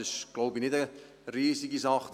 Das ist, glaube ich, nicht eine riesige Sache.